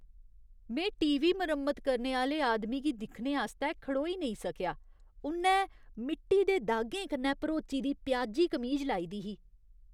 में T. V. मरम्मत करने आह्‌ले आदमी गी दिक्खने आस्तै खड़ोई नेईं सकेआ । उ'न्नै मिट्टी दे दागें कन्नै भरोची दी प्याजी कमीज लाई दी ही।